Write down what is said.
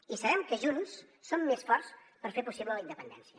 i sabem que junts som més forts per fer possible la independència